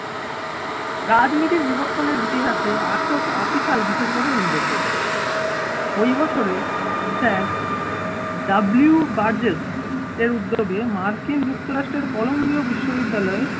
রাজনীতির বিবর্তনের ইতিহাসে আঠারোশো আশি সাল বিশেষভাবে উল্লেখযোগ্য ওই বছরের sir ডব্লিউ বার্জেস এর উদ্যোগে মার্কিন যুক্তরাষ্ট্রের কলম্বিয় বিশ্ববিদ্যালয়ে